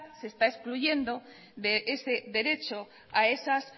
se está excluyendo de ese derecho a esas